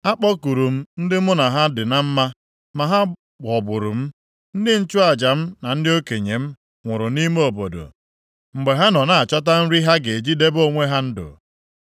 “Akpọkuru m ndị mụ na ha dị na mma, ma ha ghọgburu m. Ndị nchụaja m na ndị okenye m nwụrụ nʼime obodo mgbe ha nọ na-achọta nri ha ga-eji debe onwe ha ndụ.